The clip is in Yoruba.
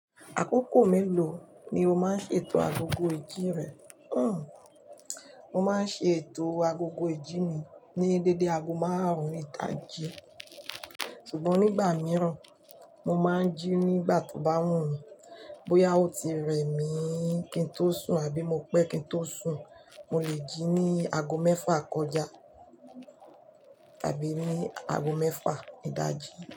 Àkókò mélòó ni o máa ń ṣe ètò agogo ìjín rẹ? Hmmm. Mo máa ń ṣe ètò agogo ìjí mi ní dédé ago márùn-ún ìdaji. Ṣùgbọ́n nígbà míràn, mo máa ń jí nígbà tó bá wù mí. Bóyá ó ti rẹ mí kí n tó sùn àbí mo pẹ́ kí n tó sùn, mo lè jí ní ago mẹ́fà kọjá àbí ní ago mẹ́fà ìdájí.